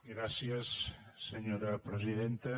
gràcies senyora presidenta